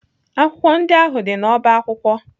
Akwụkwọ ndị ahụ dị n'ọba akwụkwọ?